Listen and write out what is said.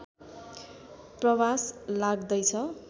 प्रवास लाग्दैछ